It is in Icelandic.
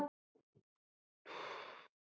Ekki Einar Oddur heldur.